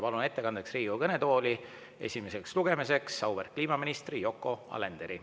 Palun ettekandjaks Riigikogu kõnetooli esimeseks lugemiseks auväärt kliimaministri Yoko Alenderi.